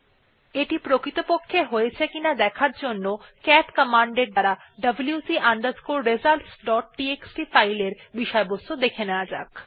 এখন এটি প্রকৃতপক্ষে হয়েছে কিনা দেখার জন্যে ক্যাট কমান্ড এর দ্বারা wc results dot TXT file এর বিষয়বস্তু দেখা যাক